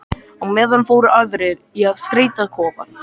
Á meðan fóru aðrir í að skreyta kofann.